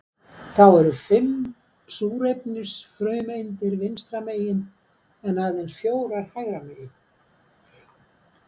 Þá eru fimm súrefnisfrumeindir vinstra megin en aðeins fjórar hægra megin.